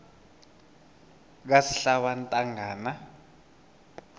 kasihlabantangana